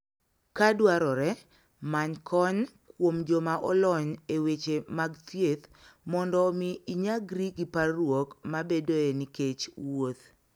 Ka dwarore, many kony kuom joma olony e weche mag thieth mondo omi inyagri gi parruok mabedoe nikech wuoth.